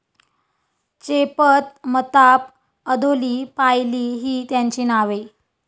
चेपत, मताप, अधोली, पायली, ही त्याची नावे.